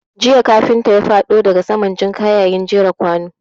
Jiya kafinta ya faɗo daga saman jinka yayin jera kwanu.